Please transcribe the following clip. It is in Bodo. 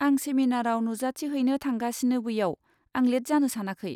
आं सेमिनाराव नुजाथिहैनो थांगासिनो बैयाव, आं लेट जानो सानाखै।